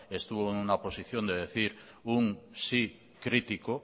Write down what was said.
estuvo en una posición de decir un sí crítico